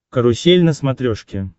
карусель на смотрешке